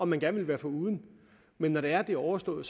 man gerne vil være foruden men når det er at det er overstået